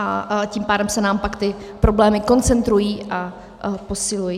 A tím pádem se nám pak ty problémy koncentrují a posilují.